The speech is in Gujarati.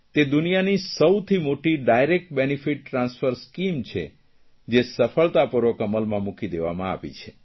તે દુનિયાની સૌથી મોટી ડાયરેક્ટ બેનીફીટ ટ્રાન્સફર સ્કીમ છે જે સફળતાપૂર્વક અમલમાં મૂકી દેવામાં આવી છે